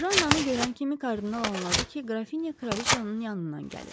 Jannanı görən kimi kardinal anladı ki, qrafinya kraliçanın yanından gəlir.